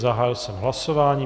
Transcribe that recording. Zahájil jsem hlasování.